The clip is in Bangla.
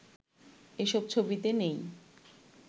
এসব ছবিতে নেই